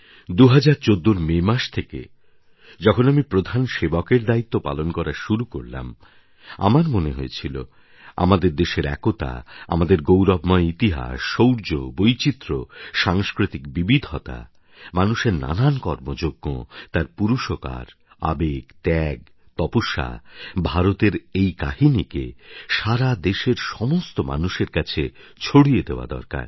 ২০১৪র মে মাস থেকে যখন আমি প্রধান সেবকএর দায়িত্ব পালন করা শুরু করলাম আমার মনে হয়েছিল আমাদের দেশের একতা আমাদের গৌরবময় ইতিহাস শৌর্য বৈচিত্র্য সাংস্কৃতিক বিবিধতা মানুষের নানান কর্মযজ্ঞ তার পুরুষকার আবেগ ত্যাগ তপস্যা ভারতের এই কাহিনিকে সারা দেশের সমস্ত মানুষের কাছে ছড়িয়ে দেওয়া দরকার